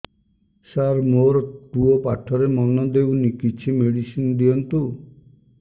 ସାର ମୋର ପୁଅ ପାଠରେ ମନ ଦଉନି କିଛି ମେଡିସିନ ଦିଅନ୍ତୁ